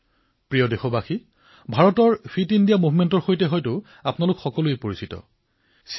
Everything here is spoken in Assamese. মোৰ মৰমৰ দেশবাসীসকল ভাৰতত ফিট ইণ্ডিয়া মুভমেণ্টৰ বিষয়ে আপোনালোক সকলোৱে অৱগত হৈছে